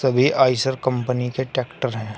वे Eicher company के tractor हैं।